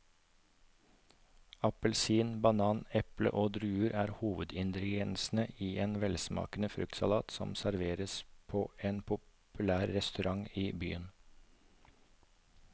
Appelsin, banan, eple og druer er hovedingredienser i en velsmakende fruktsalat som serveres på en populær restaurant i byen.